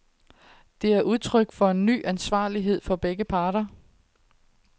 Det er udtryk for en ny ansvarlighed fra begge parter.